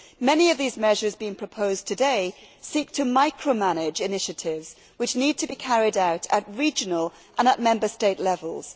Many of these measures being proposed today seek to micro manage initiatives which need to be carried out at regional and Member State levels.